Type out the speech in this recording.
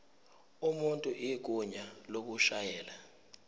umuntu igunya lokushayela